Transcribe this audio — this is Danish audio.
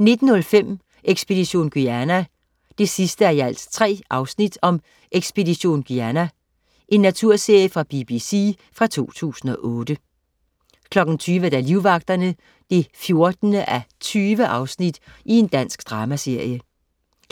19.05 Ekspedition Guyana 3:3 (Expedition Guyana) Naturserie fra BBC fra 2008 20.00 Livvagterne 14:20. Dansk dramaserie